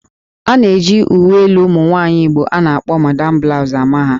A na-eji uwe elu ụmụ nwaanyị Igbo a na-akpọ 'Madam Blouse'' ama ha